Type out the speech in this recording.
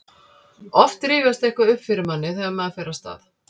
oft rifjast eitthvað upp fyrir manni þegar maður fer af stað